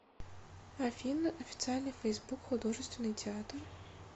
афина официальный фейсбук художественный театр